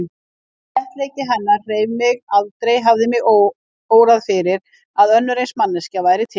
Léttleiki hennar hreif mig, aldrei hafði mig órað fyrir að önnur eins manneskja væri til.